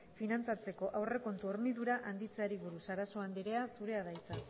finantzatzeko aurrekontu hornidura handitzeari buruz sarasua andrea zurea da hitza